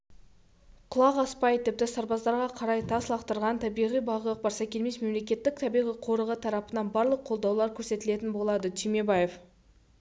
құлақ аспай тіпті сарбаздарға қарай тас лақтырған табиғи бағы барсакелмес мемлекеттік табиғи қорығы тарапынан барлық қолдаулар көрсетілетін болады түймебаев